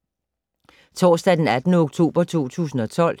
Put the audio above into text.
Torsdag d. 18. oktober 2012